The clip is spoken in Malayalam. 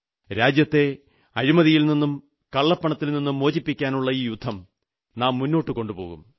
രാജ്യത്തെ അഴിമതിയിൽ നിന്നും കള്ളപ്പണത്തിൽ നിന്നുംമോചിപ്പിക്കാനുള്ള ഈ യുദ്ധം നാം മുന്നോട്ടു കൊണ്ടുപോകും